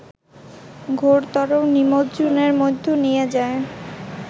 ঘোরতর নিমজ্জনের মধ্যে নিয়ে যায়